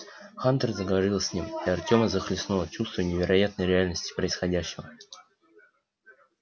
хантер заговорил с ним и артёма захлестнуло чувство невероятной реальности происходящего